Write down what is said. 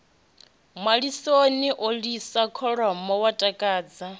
malisoni u lisa kholomo huatakadza